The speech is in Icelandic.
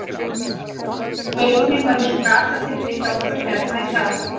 Vörnin var eins og gatasigti hjá okkur hérna í dag.